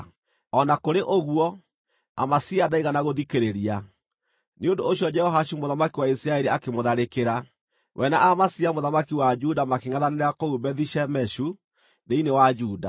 O na kũrĩ ũguo, Amazia ndaigana gũthikĩrĩria; nĩ ũndũ ũcio Jehoashu mũthamaki wa Isiraeli akĩmũtharĩkĩra. We na Amazia mũthamaki wa Juda makĩngʼethanĩra kũu Bethi-Shemeshu thĩinĩ wa Juda.